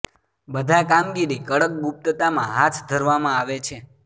બધા કામગીરી કડક ગુપ્તતા માં હાથ ધરવામાં આવે છે